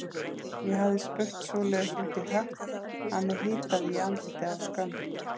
Ég hafði spurt svoleiðis út í hött að mig hitaði í andlitið af skömm.